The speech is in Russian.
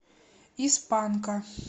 из панка